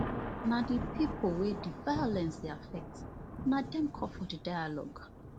na di pipo wey di violence dey affect na dem call for di dialogue